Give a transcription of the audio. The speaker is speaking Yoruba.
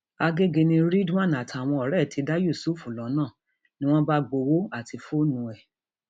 àgẹgẹ ni ridwan àtàwọn ọrẹ ẹ ti dá yusuf lọnà ni wọn bá gbowó àti fóònù ẹ